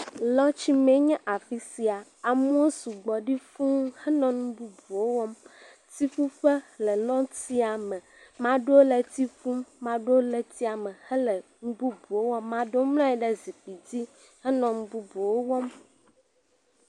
Le tsi me enye afisia, amewo sugbɔ ɖi fuũ henɔ nububuwo wɔm, tsiƒuƒe le nɔtiame, maɖewo tsi ƒum, maɖo le etiame hele nbubuwo wɔm, maɖo mlanyi ɖe zikpui dzi henɔ nububuwo wɔm.